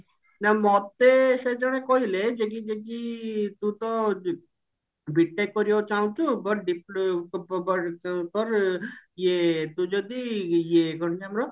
ନା ମୋତେ ସେ ଜଣେ କହିଲେ ଯେ କି ଯେ କି ତୁ ତ B.TECH କରିବାକୁ ଚାହୁଁଛୁ but ଡିପ ପ ପ ପରେ ଇଏ ତୁ ଯଦି ଇଏ କଣ ତ ଆମର